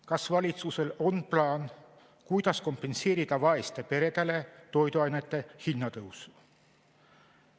Kas valitsusel on plaan, kuidas kompenseerida vaestele peredele toiduainete hinna tõus?